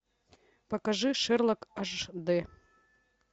покажи шерлок аш д